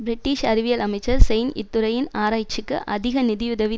British அறிவியல் அமைச்சர் செயின் இத்துறையின் ஆராய்ச்சிக்கு அதிக நிதியுதவி